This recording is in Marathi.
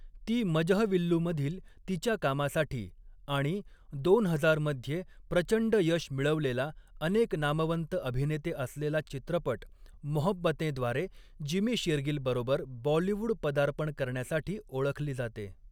ती मजहविल्लूमधील तिच्या कामासाठी आणि दोन हजार मध्ये प्रचंड यश मिळवलेला अनेक नामवंत अभिनेते असलेला चित्रपट मोहब्बतेंद्वारे जिमी शेरगिलबरोबर बॉलिवूड पदार्पण करण्यासाठी ओळखली जाते.